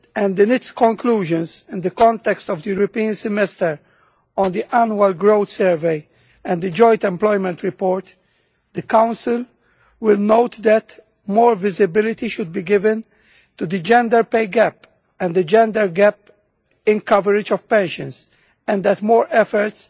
In its conclusions in the context of the European Semester on the Annual Growth Survey and the Joint Employment Report, the Council will note that more visibility should be given to the gender pay gap and the gender gap in coverage of pensions and that more efforts